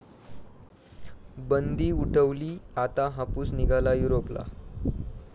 बंदी उठवली, आता हापूस निघाला युरोपला!